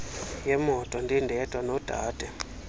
yemoto ndindedwa nodade